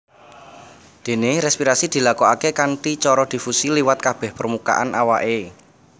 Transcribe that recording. Déné respirasi dilakokaké kanthi cara difusi liwat kabèh permukaan awaké